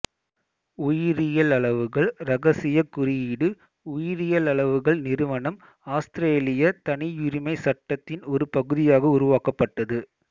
உயிரியளவுகள் இரகசியக் குறியீடு உயிரியளவுகள் நிறுவனம் ஆஸ்திரேலிய தனியுரிமை சட்டத்தின் ஒரு பகுதியாக உருவாக்கப்பட்டது